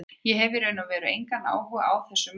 Ég hef í raun og veru engan áhuga á þessum mönnum.